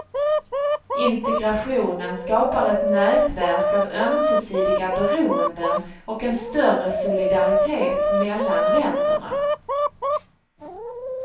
Integrationen skapar ett nätverk av ömsesidiga beroenden och en större solidaritet mellan länderna.